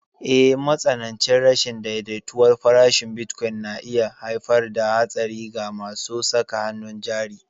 Eh, matsanancin rashin daidaituwar farashin bitcoin na iya haifar da haɗari ga masu saka hannun jari.